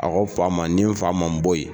A ko fa ma ni fa ma bɔyi.